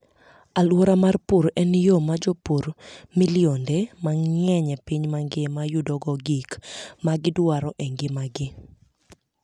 Alwora mar pur en yo ma jopur milionde mang'eny e piny mangima yudogo gik ma gidwaro e ngimagi.